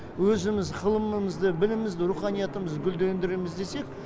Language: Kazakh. өзіміз ғылымымызды білімімізді руханиятымызды гүлдендіреміз десек